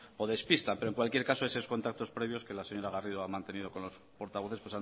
o despistan pero en cualquier caso esos contactos previos que la señora garrido ha mantenido con los portavoces